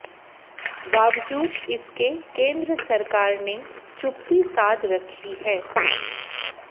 बावजूद इसके केन्द्र सरकार ने चुप्पी साध रखी है